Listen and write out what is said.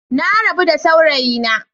Na rabu da saurayina.